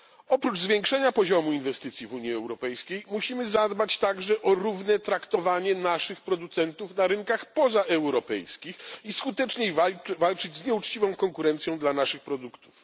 Oprócz zwiększenia poziomu inwestycji w Unii Europejskiej musimy zadbać także o równe traktowanie naszych producentów na rynkach pozaeuropejskich i skuteczniej walczyć z nieuczciwą konkurencją dla naszych produktów.